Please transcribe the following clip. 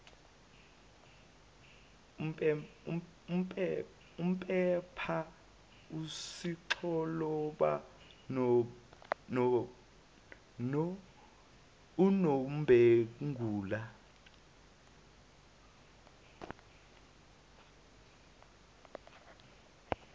umpepha usixoloba unombengula